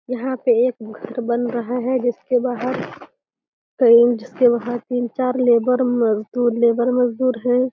यहाँ पे एक घर बन रहा है। जिसके बाहर कई तीन चार लेबर मजदूर लेबर हैं।